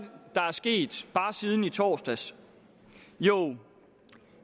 sket bare siden i torsdags jo